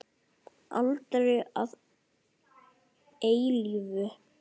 Aldrei að eilífu.